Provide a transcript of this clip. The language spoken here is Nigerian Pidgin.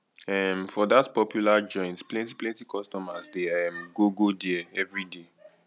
um for dat popular joint plenty plenty customers dey um go go there everyday